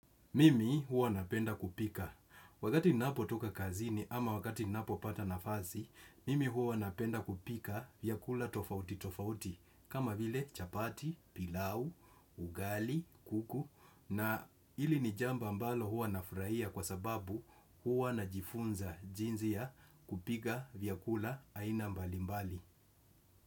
Mimi huwa napenda kupika. Wakati ninapotoka kazini ama wakati ninapopata nafasi, mimi huwa napenda kupika vyakula tofauti tofauti. Kama vile chapati, pilau, ughali, kuku na hili ni jambo ambalo huwa nafurahia kwa sababu huwa najifunza jinsi ya kupika vyakula aina mbalimbali.